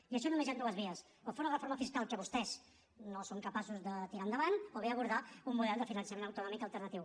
i per això només hi han dues vies o fer una reforma fiscal que vostès no són capaços de tirar endavant o bé abordar un model de finançament autonòmic alternatiu